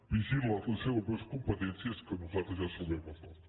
vigili les seves competències que nosaltres ja sabem les nostres